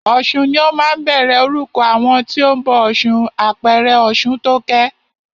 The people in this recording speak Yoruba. Ọ̀sun ni ó máa ń bẹ̀rẹ̀ orúkọ àwọn tí o ń bọ ọ̀ṣun, àpẹẹrẹ Ọ̀ṣuntókẹ́.